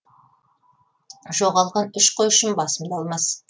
жоғалған үш қой үшін басымды алмас